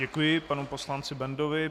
Děkuji panu poslanci Bendovi.